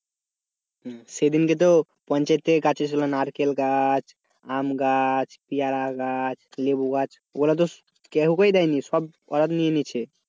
হম সেইদিন যেহুতু পঞ্চায়েত থেকে গাছ এসেছিলো নারকেল গাছ, আম গাছ পেয়ারা গাছ লেবু গাছ ওগুলো তো কেউ কাওকে দেয়নি সব ওরা নিয়ে নিয়েছে।